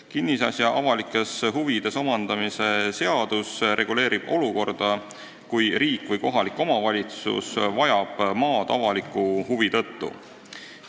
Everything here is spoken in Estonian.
Kinnisasja avalikes huvides omandamise seadus reguleerib olukorda, kui riik või kohalik omavalitsus vajab maad avaliku huvi tõttu.